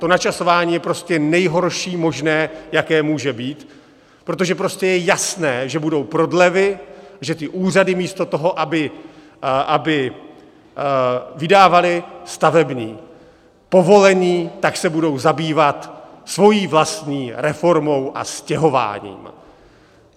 To načasování je prostě nejhorší možné, jaké může být, protože prostě je jasné, že budou prodlevy, že ty úřady místo toho, aby vydávaly stavební povolení, tak se budou zabývat svojí vlastní reformou a stěhováním!